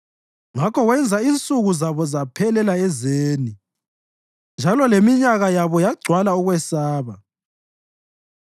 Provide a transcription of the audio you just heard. Ngakho wenza insuku zabo zaphelela ezeni njalo leminyaka yabo yagcwala ukwesaba.